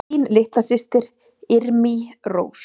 Þín litla systir, Irmý Rós.